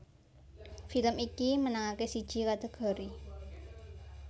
Film iki menangake siji kategori